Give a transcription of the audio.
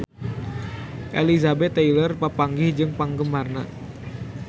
Elizabeth Taylor papanggih jeung penggemarna